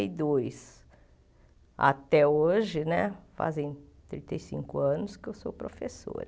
E dois até hoje né, fazem trinta e cinco anos que eu sou professora.